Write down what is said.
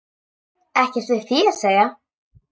Ekkert við því að segja.